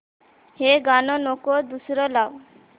हे गाणं नको दुसरं लाव